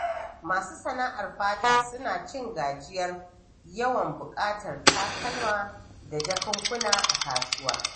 Masu sana'ar fata suna cin gajiyar yawan buƙatar takalma da jakunkuna a kasuwa.